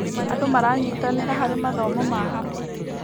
Andũ maranyitanĩra harĩ mathomo ma hamwe.